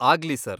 ಆಗ್ಲಿ ಸರ್.